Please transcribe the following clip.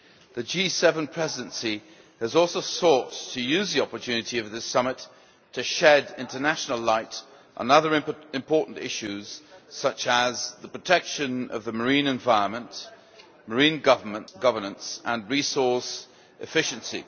The G7 Presidency has also sought to use the opportunity of this Summit to shed international light on other important issues such as the protection of the marine environment, marine governance and resource efficiency.